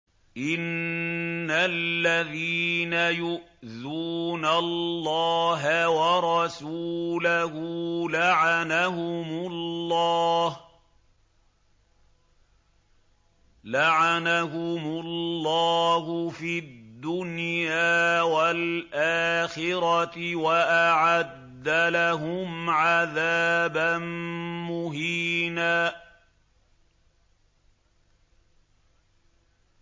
إِنَّ الَّذِينَ يُؤْذُونَ اللَّهَ وَرَسُولَهُ لَعَنَهُمُ اللَّهُ فِي الدُّنْيَا وَالْآخِرَةِ وَأَعَدَّ لَهُمْ عَذَابًا مُّهِينًا